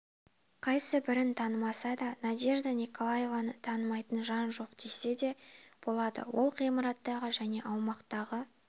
қайсыбірін танымаса да надежда николаевнаны танымайтын жан жоқ десе де болады ол ғимараттағы және аумақтағы